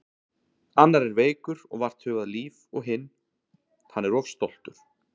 Annar er veikur og vart hugað líf og hinn. hann er of stoltur.